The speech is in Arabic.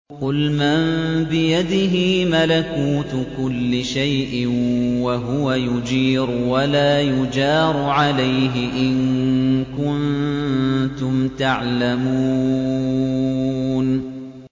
قُلْ مَن بِيَدِهِ مَلَكُوتُ كُلِّ شَيْءٍ وَهُوَ يُجِيرُ وَلَا يُجَارُ عَلَيْهِ إِن كُنتُمْ تَعْلَمُونَ